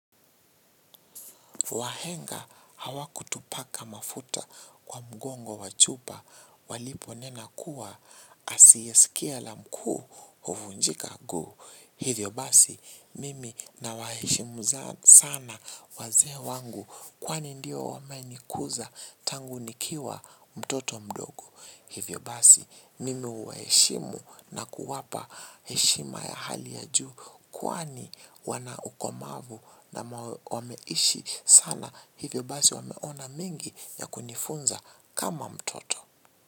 Wahenga hawakutupaka mafuta kwa mgongo wachupa walipo nena kuwa asiyesikia la mkuu huvunjika nguu. Hivyo basi mimi nawaheshimu sana wazee wangu kwani ndio wame nikuza tangu nikiwa mtoto mdogo. Hivyo basi nimewaheshimu na kuwapa heshima ya hali ya juu kwani wana ukomavu na wameishi sana. Hivyo basi wameona mingi ya kunifunza kama mtoto.